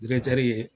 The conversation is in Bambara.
ye